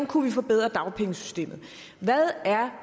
kunne forbedre dagpengesystemet hvad er